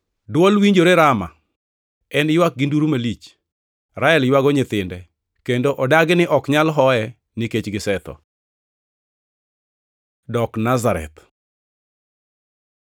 “Dwol winjore Rama, en ywak gi nduru malich, Rael ywago nyithinde kendo odagi ni ok nyal hoye, nikech gisetho.” + 2:18 \+xt Jer 31:15\+xt* Dok Nazareth